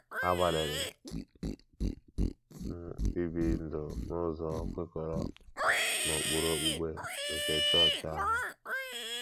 Agbalịrị m ibi ndụ n’ụzọ kwekọrọ n’ụkpụrụ okpukpe nke chọọchị ahụ.